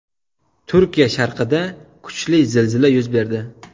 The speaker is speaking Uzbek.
Turkiya sharqida kuchli zilzila yuz berdi.